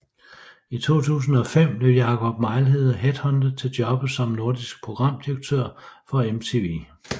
I 2005 blev Jakob Mejlhede headhuntet til jobbet som Nordisk Programdirektør for MTV